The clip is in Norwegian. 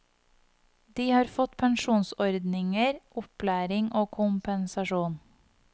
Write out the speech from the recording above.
De har fått pensjonsordninger, opplæring og kompensasjon.